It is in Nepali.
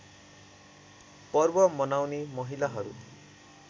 पर्व मनाउने महिलाहरू